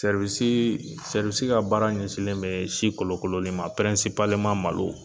ka baara ɲɛsinlen bɛ si kolo kolonin ma malo.